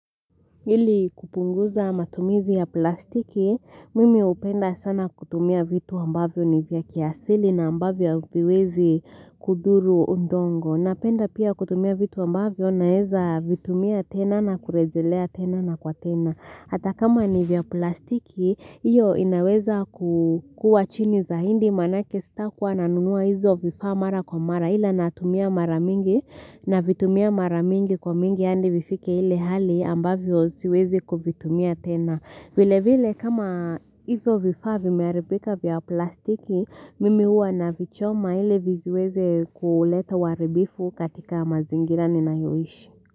Ili kupunguza matumizi ya plastiki, mimi upenda sana kutumia vitu ambavyo ni vya kiasili na ambavyo viwezi kuduru undongo. Napenda pia kutumia vitu ambavyo naeza vitumia tena na kurejelea tena na kwa tena. Hata kama ni vya plastiki, iyo inaweza kukua chini za hindi manake stakwa nanunua izo vifaa mara kwa mara ila natumia mara mingi na vitumia mara mingi kwa mingi andi vifike hili hali ambavyo siwezi kuvitumia tena. Vile vile kama izo vifaa vimearibika vya plastiki, mimi uwa na vichoma ili viziweze kuuleta waribifu katika mazingira ninaioishi.